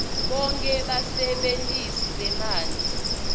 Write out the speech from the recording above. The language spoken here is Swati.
bonkhe basebentisi bemanti